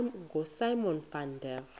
ngosimon van der